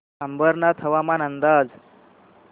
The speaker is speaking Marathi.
अंबरनाथ हवामान अंदाज